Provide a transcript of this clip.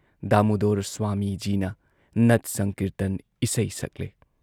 ꯗꯥꯃꯨꯨꯗꯣꯔ ꯁ꯭ꯋꯥꯃꯤꯖꯤꯅ ꯅꯠ ꯁꯪꯀꯤꯔꯇꯟ ꯏꯁꯩ ꯁꯛꯂꯦ ꯫